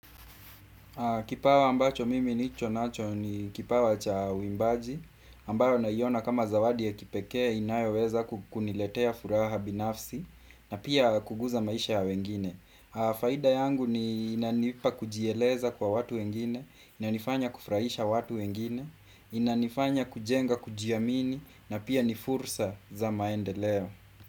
Kipawa ambacho mimi nicho nacho ni kipawa cha uimbaji, ambayo naiona kama zawadi ya kipekee inayoweza kukuniletea furaha binafsi na pia kuguza maisha ya wengine. Faida yangu ni inanipa kujieleza kwa watu wengine, inanifanya kufraisha watu wengine, inanifanya kujenga kujiamini na pia nifursa za maendeleo.